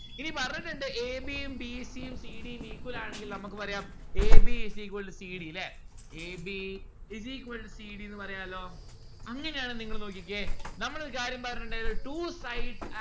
ഇനി പറഞ്ഞിട്ടിണ്ട്‌ a b ഉം b c ഉം c d ഉം equal ആണെന്കി നമ്മുക്ക് പറയാം a b is equal to c d ല്ലേ a b is equal to c d ന്ന്‌ പറയാലോ അങ്ങനെയാണേ നിങ്ങള് നോക്കിക്കേ നമ്മളൊരു കാര്യം പറഞ്ഞിട്ടുണ്ടായിരുന്നു two sides